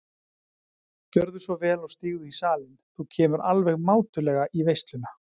Gjörðu svo vel og stígðu í salinn, þú kemur alveg mátulega í veisluna.